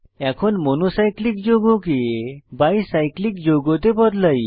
এখন monocyclic যৌগকে bicyclic যৌগতে বদলাই